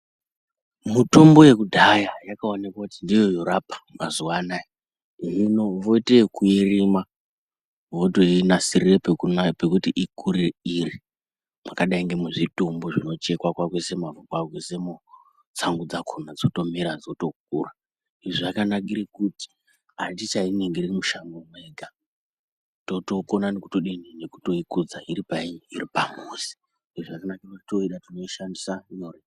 Mitombo yekudhaya yakaonekwa kuti ndiyo yorapa mazuva anaya hino voita yokuirima voinasirira pekuti ikure iri mwakadai ngemuzvitumbu vozvicheka voisa mavhu voisamo tsangu dzakona dzotokura zvakanakira kuti atichainingiri mushango mwega totokona nekuikudza iripamuzi tooida tinoishandisa nyore.